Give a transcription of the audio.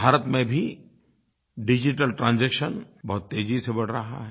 भारत में भी digital transaction बहुत तेज़ी से बढ़ रहा है